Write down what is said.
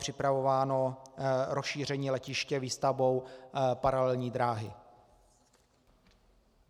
připravováno rozšíření letiště výstavbou paralelní dráhy.